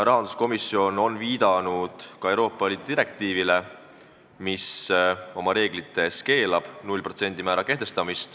Rahanduskomisjon on viidanud Euroopa Liidu direktiivile, mille reeglid keelavad 0% määra kehtestamise.